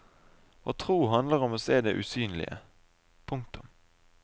Å tro handler om å se det usynlige. punktum